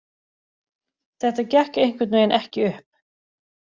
Þetta gekk einhvernveginn ekki upp.